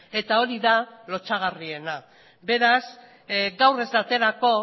eta hori da lotsagarriena beraz gaur ez da aterako